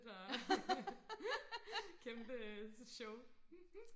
og kæmpe show